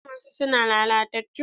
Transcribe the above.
An kama su su na lalatattu.